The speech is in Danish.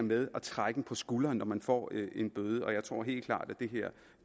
med at trække på skulderen når man får en bøde jeg tror helt klart at